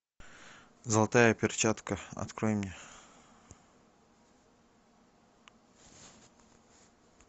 золотая перчатка открой мне